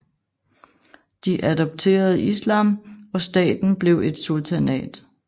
De adopterede islam og staten blev et sultanat